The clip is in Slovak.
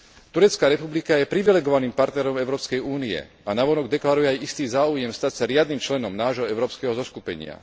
Turecká republika je privilegovaným partnerom Európskej únie a navonok deklaruje aj istý záujem stať sa riadnym členom nášho európskeho zoskupenia.